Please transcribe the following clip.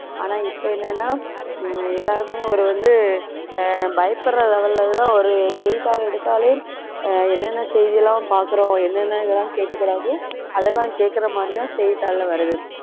ஆனா இப்ப என்னன்னா ஹம் எல்லாருமே ஒரு வந்து ஆஹ் பயப்படுற level ல எல்லாம் ஒரு செய்தித்தாள் எடுத்தாலே அஹ் என்னென்ன செய்தி எல்லாம் பார்க்கிறோம் என்னென்ன இதெல்லாம் கேட்க கூடாதோ அதெல்லாம் கேட்கிற மாதிரி தான் செய்தித்தாள்ல வருது